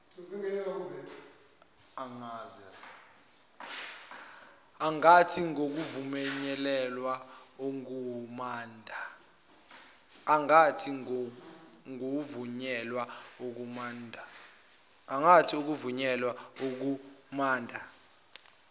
angathi ngokuvunyelwa ngukhomanda